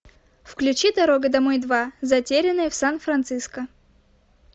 включи дорога домой два затерянные в сан франциско